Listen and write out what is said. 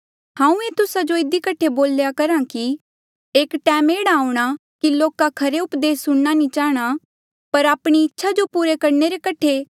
हांऊँ ये तुस्सा जो इधी कठे बोल्या करहा कि एक टैम एह्ड़ा आऊंणा कि लोका खरा उपदेस सुणना नी चाहणा पर आपणी इच्छा जो पूरी करणे रे कठे एह्ड़े लोक तोपी किन्हें कठ्ठा करणे जेह्ड़े सिर्फ तिन्हा जो से ही गल्ला स्खायें जो स्यों सुणना चाहें